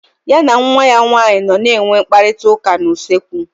Ya na nwa ya nwaanyị nọ na enwe mkparịta ụka na usekwu